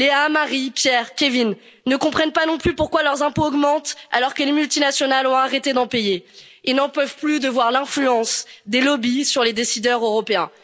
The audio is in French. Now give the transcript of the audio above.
Léa, Marie, Pierre et Kevin ne comprennent pas non plus pourquoi leurs impôts augmentent alors que les multinationales ont arrêté d'en payer et n'en peuvent plus de voir l'influence des lobbys sur les décideurs européens.